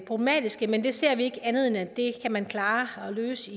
problematiske men vi ser ikke andet end at det kan man klare og løse